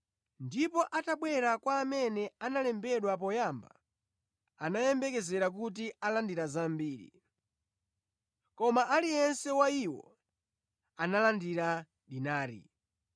Ndipo atabwera kwa amene analembedwa poyamba anayembekezera kuti alandira zambiri. Koma aliyense wa iwo analandira dinari.